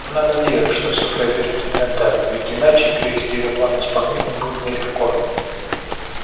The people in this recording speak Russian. она надеялась что всё произойдёт именно так ведь иначе привести её план в исполнение будет нелегко